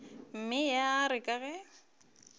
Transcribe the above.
mme ya re ka ge